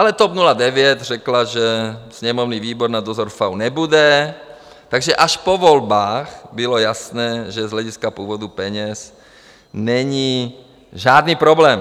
Ale TOP 09 řekla, že sněmovní výbor na dozor FAÚ nebude, takže až po volbách bylo jasné, že z hlediska původu peněz není žádný problém.